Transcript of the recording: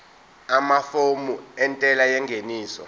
amafomu entela yengeniso